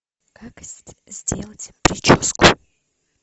как сделать прическу